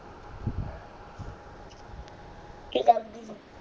ਕਿ ਕਰਦੀ ਆ